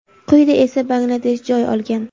quyida esa Bangladesh joy olgan.